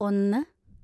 ഒന്ന്